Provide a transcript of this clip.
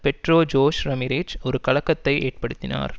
Pedro Jose Ramirez ஒரு கலக்கத்தை ஏற்படுத்தினார்